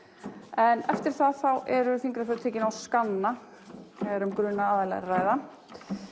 en eftir það eru fingraförin tekin á skanna þegar um grunaða aðila er að ræða